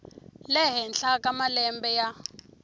le henhla ka malembe ya